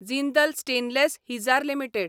Jindal stainless Hisar limited